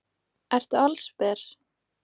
Ertu allsber?